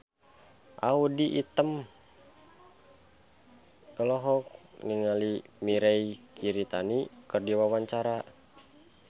Audy Item olohok ningali Mirei Kiritani keur diwawancara